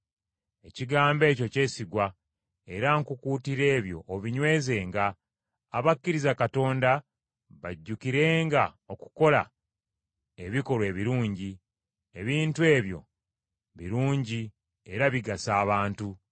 Ekigambo ekyo kyesigwa, era nkukuutira ebyo obinywezenga abakkiriza Katonda bajjukirenga okukola ebikolwa ebirungi; ebintu ebyo birungi era bigasa abantu.